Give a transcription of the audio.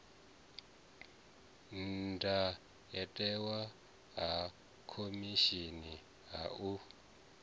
ndayotewa ha khomishini ha u